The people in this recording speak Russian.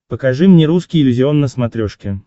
покажи мне русский иллюзион на смотрешке